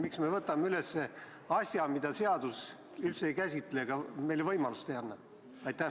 Miks me võtame üles asja, mida seadus üldse ei käsitle ja milleks meile võimalust ei anna?